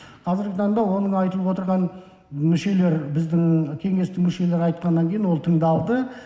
қазіргі таңда оның айтылып отырған мүшелер біздің кеңестің мүшелері айтқаннан кейін ол тыңдалды